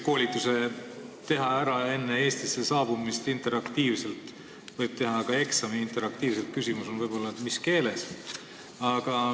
Koolituse võib ära teha enne Eestisse saabumist interaktiivselt, ka eksamit võib teha interaktiivselt, küsimus on võib-olla selles, mis keeles.